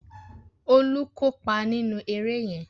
Olú kópa nínú eré yẹn